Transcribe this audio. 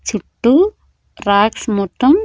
చుట్టూ రాక్స్ మొత్తం--